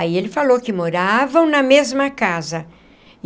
Aí ele falou que moravam na mesma casa.